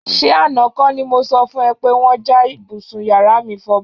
S̩e àná kó̩ ni mo so̩ fún e̩ pé wó̩n ja ibùsùn yàrá mi fo̩bó̩